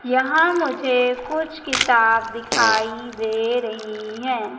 यहां मुझे कुछ किताब दिखाई दे रही है।